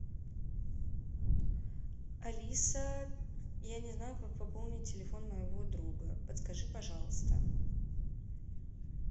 алиса я не знаю как пополнить телефон моего друга подскажи пожалуйста